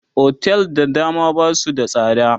otel da dama Basu da tsada